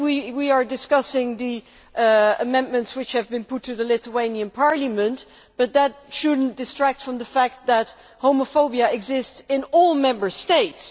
Today, we are discussing the amendments which have been put to the Lithuanian Parliament, but that should not distract us from the fact that homophobia exists in all Member States.